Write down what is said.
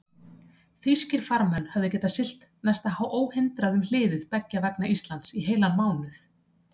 Þýskir farmenn höfðu getað siglt næsta óhindrað um hliðið beggja vegna Íslands í heilan mánuð.